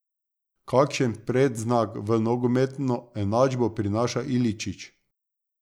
Kakšen predznak v nogometno enačbo prinaša Iličić?